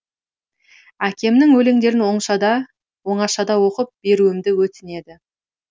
әкемнің өлеңдерін оңашада оқып беруімді өтінеді